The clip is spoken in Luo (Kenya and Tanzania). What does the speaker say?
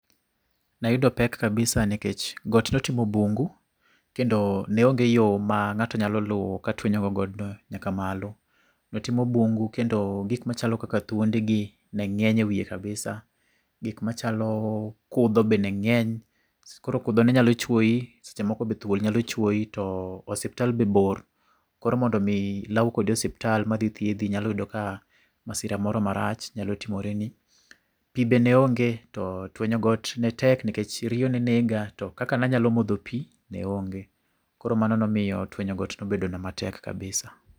Nayudo pek kabisa nkech got ne otimo bungu kendo ne onge yo ma ng'ato nyalo luwo katuenyo go godno nyaka malo. No timo bungu kendo gik machalo kaka thuondegi ne ng'eny ewiye kabisa, gik machalo kudho be ne ng'eny koro kudho ne nyalo chuoyi seche moko be thuol nyalo chuoyi to osiptal be bor koro mondo mi law kodi osiptal madhi thiedhi nyalo yudo ka masira moro marach nyalo timore ni. Pi be ne onge to tuenyo got ne tek nikech riyo ne nega to kaka ne anyalo modho pi ne onge. Koro mano nomiyo tienyo got nobedona matek kabisa